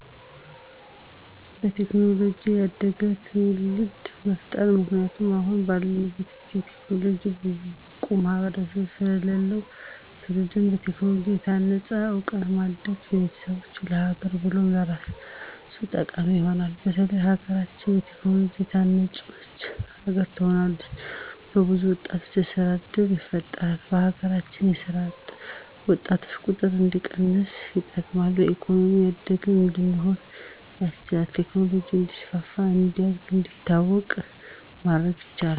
በቴክኖሎጂ ያደገ ትዉልድ መፍጠር ምክንያቱም አሁን ባለንበት ጊዜ በቴክኖሎጂ ብዙም ብቁ ማህበረሰብ ስለለለን ትዉልዱ በቴክኖሎጂ በታነፀ እዉቀት ማደጉ ለቤተሰቡ፣ ለሀገር ብሎም ለራሱ ጠቃሚ ይሆናል። በተለይ ሀገራችን በቴክኖሎጂ የታነፀች ሀገር ትሆናለች። ለብዙ ወጣቶች የስራ እድል ይፈጥራል በሀገራችን የስራ አጥ ወጣቶችን ቁጥር እንዲቀንስ ይጠቅማል። በኢኮኖሚ ያደግን እንድንሆን ያስችላል። ቴክኖሎጂ እንዲስፋ፣ እንዲያድግ፣ እንዲታወቅ ማድረግ ያስችላል።